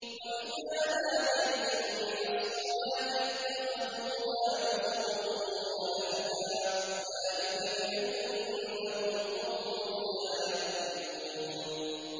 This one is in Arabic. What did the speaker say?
وَإِذَا نَادَيْتُمْ إِلَى الصَّلَاةِ اتَّخَذُوهَا هُزُوًا وَلَعِبًا ۚ ذَٰلِكَ بِأَنَّهُمْ قَوْمٌ لَّا يَعْقِلُونَ